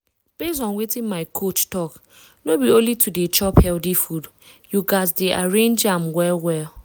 based on wetin my coach talk no be only to dey chop healthy food you gas dey arrange am well well.